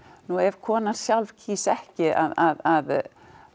nú ef konan sjálf kýs ekki að